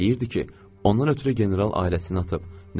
Deyirdi ki, ondan ötrü general ailəsini atıb.